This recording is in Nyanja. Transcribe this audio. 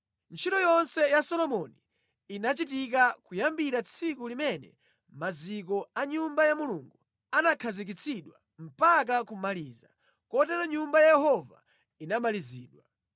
Ntchito yonse ya Solomoni inachitika kuyambira tsiku limene maziko a Nyumba ya Mulungu anakhazikitsidwa mpaka kumaliza. Kotero Nyumba ya Yehova inamalizidwa.